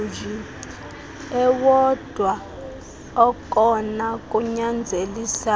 ewodwa okona kunyanzelisayo